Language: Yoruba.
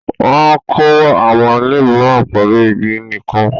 Wọ́n kọ́ àwọn ilé mìíràn pẹ̀lú igi nìkan.